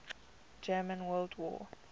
german world war